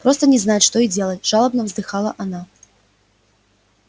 просто не знать что и делать жалобно вздыхала она